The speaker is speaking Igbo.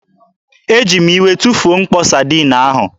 Eji m iwe tụfuo mkpo Sadiin ahụ.